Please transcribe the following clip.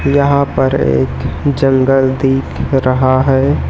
यहां पर एक जंगल दिख रहा है।